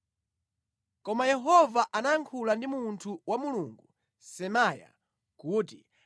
Koma Yehova anayankhula ndi munthu wa Mulungu Semaya kuti,